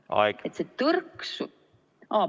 Aeg!